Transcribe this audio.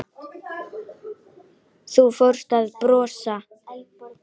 Og þú fórst að brosa.